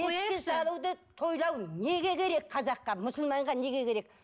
тойлау неге керек қазаққа мұсылманға неге керек